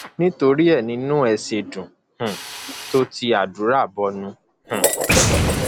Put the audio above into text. nítorí ẹ ní inú ẹ ṣe dùn um tó ti àdúrà bọnu um